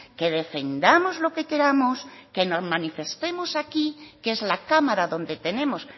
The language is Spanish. que defendamos lo que queramos que nos manifestemos aquí que es la cámara donde tenemos